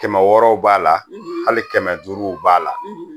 Kɛmɛ wɔɔrɔw b'a la hali kɛmɛ duuruw b'a la